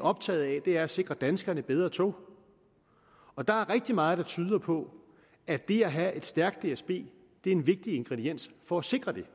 optaget af er at sikre danskerne bedre tog og der er rigtig meget der tyder på at det at have et stærkt dsb er en vigtig ingrediens for at sikre det